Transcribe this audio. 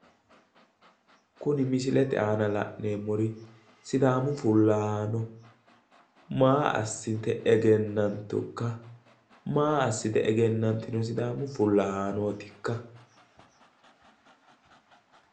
kuni misilete aana la'neemmori sidaamu fullahaano maa assite egennantukka maa assite egennantino sidaamu fullahaanootikka.